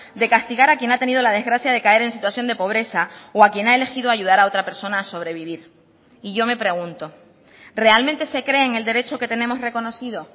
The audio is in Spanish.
de castigar a quien ha tenido la desgracia de caer en situación de pobreza o a quien ha elegido ayudar a otra persona a sobrevivir y yo me pregunto realmente se creen el derecho que tenemos reconocido